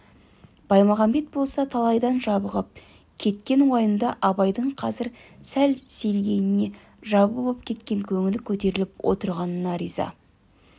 баймағамбет болса талайдан жабығып кеткен уайымды абайдың қазір сәл сейілгеніне жабы боп кеткен көңілі көтеріліп отырғанына риза